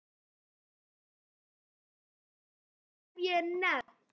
Austra og Trausta, hef ég nefnt.